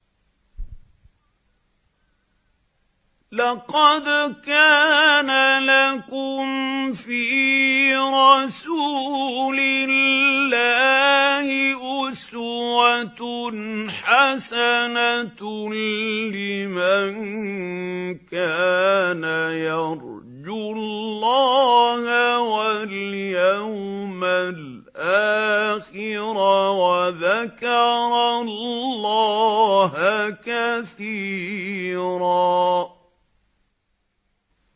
لَّقَدْ كَانَ لَكُمْ فِي رَسُولِ اللَّهِ أُسْوَةٌ حَسَنَةٌ لِّمَن كَانَ يَرْجُو اللَّهَ وَالْيَوْمَ الْآخِرَ وَذَكَرَ اللَّهَ كَثِيرًا